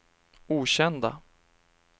okända